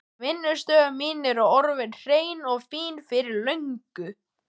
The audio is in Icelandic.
Hún býður af sér góðan þokka.